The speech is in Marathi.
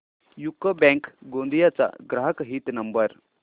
यूको बँक गोंदिया चा ग्राहक हित नंबर